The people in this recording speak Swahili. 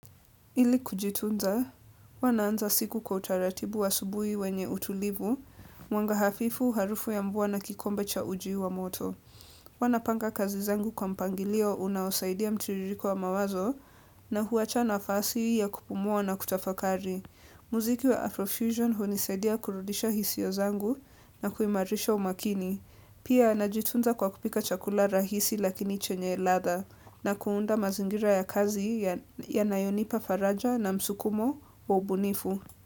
Ili kujitunza, wanaanza siku kwa utaratibu wa subuhi wenye utulivu, mwanga hafifu, harufu ya mvua na kikombe cha uji wa moto. Wanapanga kazi zangu kwa mpangilio unaosaidia mtiririko wa mawazo na huacha nafasi ya kupumua na kutafakari. Muziki wa Afrofusion hunisadia kurudisha hisiyo zangu na kuimarisha umakini. Pia, najitunza kwa kupika chakula rahisi lakini chenye ladha na kuunda mazingira ya kazi ya nayonipa faraja na msukumo wa ubunifu.